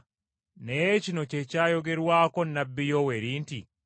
Naye kino kye kyayogerwako nnabbi Yoweeri nti,